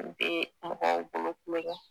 N de mɔgɔw bolo tulon na